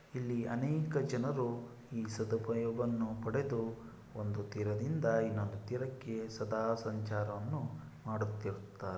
ಇಲ್ಲಿಅನೇಕ ಜನರು ಈ ಸದುಪಯೋಗವನ್ನು ಪಡೆದು ಒಂದು ತೀರದಿಂದ ಇನ್ನೊಂದು ತೀರಾಕ್ಕೆ ಸದಾ ಸಂಚಾರವನ್ನು ಮಾಡತ್ತಿರುತ್ತಾ--